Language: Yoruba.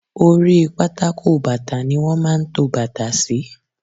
Oríi pátákó bàtà ni wọ́n máa ń to bàtà sí.